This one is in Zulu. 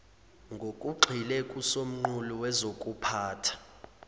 ngokugxile kusomqulu wokuziphatha